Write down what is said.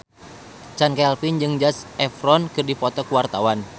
Chand Kelvin jeung Zac Efron keur dipoto ku wartawan